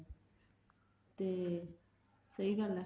ਤੇ ਸਹੀ ਗੱਲ ਆ